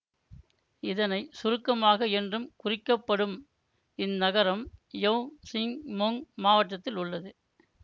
இதனை சுருக்கமாக என்றும் குறிக்கப்படும் இந்நகரம் யவ் சிங் மொங் மாவட்டத்தில் உள்ளது